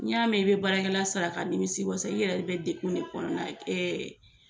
N'i y'a mɛn i bɛ baarakɛla sara ka nimi wasa i yɛrɛ de bɛ dekun ne kɔnɔna ye